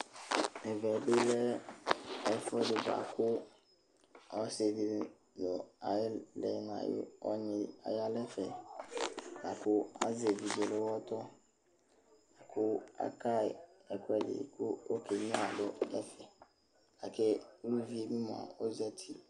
Ɛmɛ bɩ lɛ ɛfʋɛɖɩ bʋa kʋ, ɔsɩ ɖɩ nʋ ɔnyɩ aƴa nɛfɛ, la ƙʋ azɛ eviɖze nʋ ʋwɔtɔ, ƙʋ aƙaƴɩ ɛƙʋɛɖɩ ƙʋ okenyuǝ mʋ ɔfɩ ƙʋ uvi ɖi mʋa ozati